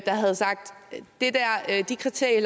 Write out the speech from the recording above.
havde sagt at de kriterier